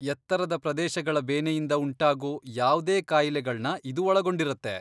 ಎತ್ತರದ ಪ್ರದೇಶಗಳ ಬೇನೆಯಿಂದ ಉಂಟಾಗೋ ಯಾವ್ದೇ ಕಾಯಿಲೆಗಳ್ನ ಇದು ಒಳಗೊಂಡಿರತ್ತೆ.